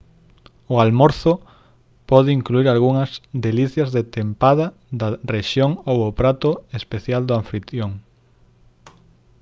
o almorzo pode incluír algunhas delicias de tempada da rexión ou o prato especial do anfitrión